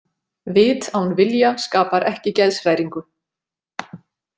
Vit án vilja skapar ekki geðshræringu.